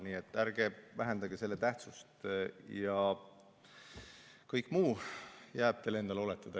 Nii et ärge vähendage selle tähtsust ja kõik muu jääb teile endale oletada.